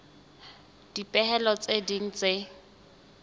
le dipehelo tse ding tse